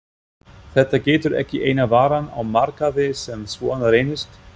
Þetta getur ekki eina varan á markaði sem svona reynist?